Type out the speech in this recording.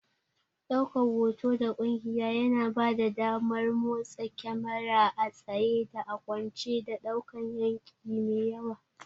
Ɗaukan hoto da ƙugiya yana bada damar motsa kyamara a tsaye da a kwance, da ɗaukan yanki mai yawa.